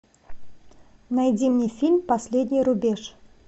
найди мне фильм последний рубеж